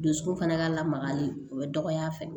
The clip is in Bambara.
Dusukun fana ka lamagali o ye dɔgɔya fɛ